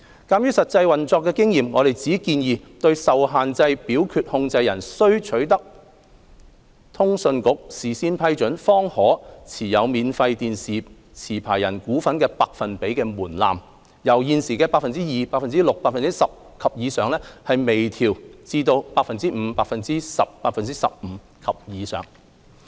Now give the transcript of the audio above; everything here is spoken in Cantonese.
鑒於實際運作經驗，我們只建議對受限制表決控權人須取得通訊局事先批准，方可持有免費電視持牌人股份的百分比門檻，由現時的 "2%、6%、10% 及以上"，輕微調整至 "5%、10%、15% 及以上"。